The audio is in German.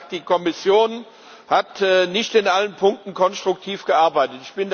er hat gesagt, die Kommission hat nicht in allen Punkten konstruktiv gearbeitet.